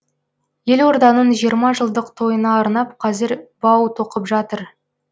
елорданың жиырма жылдық тойына арнап қазір бау тоқып жатыр